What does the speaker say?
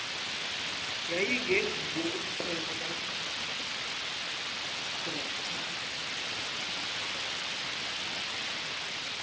yayingenguwo umnqweno kadr